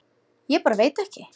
Ég bara veit ekki.